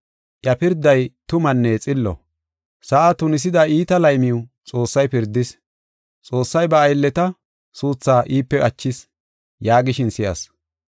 Iya pirday tumanne xillo. Sa7aa tunisida iita laymiw Xoossay pirdis. Xoossay ba aylleta suuthaa iipe achis” yaagishin si7as.